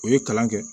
U ye kalan kɛ